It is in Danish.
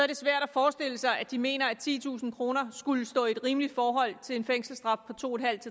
det svært at forestille sig at de mener at titusind kroner skulle stå i et rimeligt forhold til en fængselsstraf på to en halv